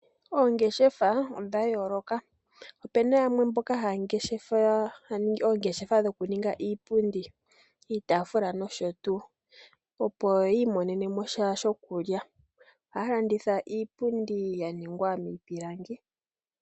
Oongeshefa odha yooloka. Ope na yamwe mboka haya ningi oongeshefa dho ku ninga iipundi, iitafula nosho tuu. Opo ya imonene mo sha sho ku lya, ohaya landitha iipundi ya ningwa miipilangi.